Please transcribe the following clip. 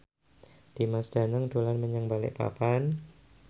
Dimas Danang dolan menyang Balikpapan